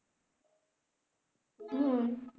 হম